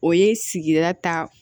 O ye sigira ta